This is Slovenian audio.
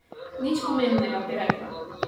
Nič pomembnega, bi rekla.